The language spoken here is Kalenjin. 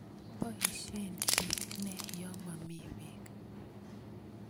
Poisyen piik ne ye momi peek?